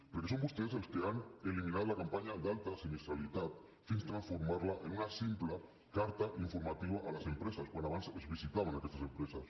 perquè són vostès els que han eliminat la campanya d’alta sinistralitat fins a transformar la en una simple carta informativa a les empreses quan abans es visitaven aquestes empreses